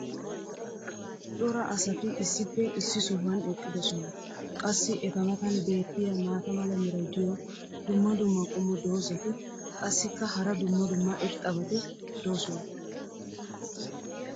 cora asati issippe issi sohuwan eqqidosona. qassi eta matan beetiya maata mala meray diyo dumma dumma qommo dozzati qassikka hara dumma dumma irxxabati doosona.